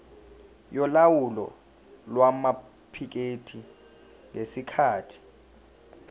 yolawulo lwamaphikethi ngesikhathi